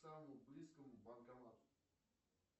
к самому близкому банкомату